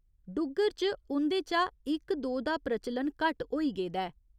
डुग्गर च उं'दे चा इक दो दा प्रचलन घट्ट होई गेदा ऐ।